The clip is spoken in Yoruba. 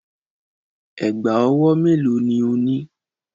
Ẹ̀gbá-ọwọ́ mélòó ni o ní?